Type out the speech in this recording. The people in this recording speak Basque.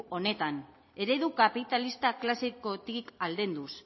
honetan eredu kapitalista klasekotik aldenduz